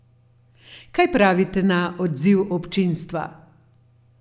Kaj pravite na odziv občinstva?